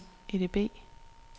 EDB